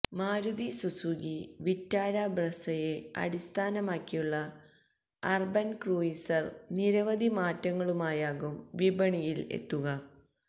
Maruti Suzuki Vitara ബ്രെസയെ അടിസ്ഥാനമാക്കിയുള്ള Urban Cruiser നിരവധി മാറ്റങ്ങളുമായാകും വിപണിയിൽ എത്തുക